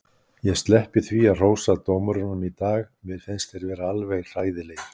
Ég sleppi því að hrósa dómurunum í dag, mér fannst þeir vera alveg hræðilegir.